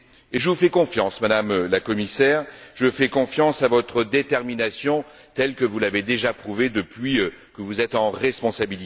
Je vous fais confiance, Madame la Commissaire, je fais confiance à votre détermination telle que vous l'avez déjà prouvée depuis que vous êtes en poste.